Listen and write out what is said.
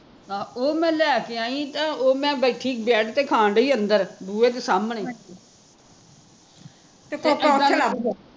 ਆਹੋ ਉਹ ਮੈਂ ਲੈ ਕੇ ਆਈ ਸੀ ਤਾਂ ਉਹ ਮੈਂ ਬੈਠੀ ਬੈਡ ਤੇ ਖਾਣ ਡਈ ਸੀ ਅੰਦਰ, ਬੂਹੇ ਦੇ ਸਾਹਮਣੇ